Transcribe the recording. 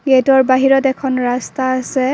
গেটৰ বাহিৰত এখন ৰাস্তা আছে।